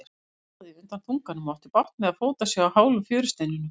Hann riðaði undan þunganum og átti bágt með að fóta sig á hálum fjörusteinunum.